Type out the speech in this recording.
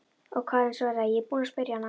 Og Karen svaraði: Ég er búin að spyrja hana.